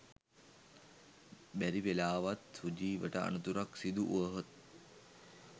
බැරි වෙලාවත් සුජීවට අනතුරක් සිදු වුවහොත්